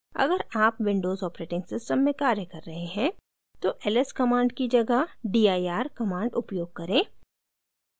अगर आप windows operating system में कार्य कर रहे हैं तो ls command की जगह dir command उपयोग करें